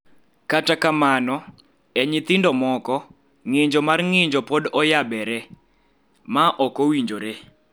Kata kamano, e nyithindo moko, ng�injo mar ng�injo pod oyabere (ma ok owinjore).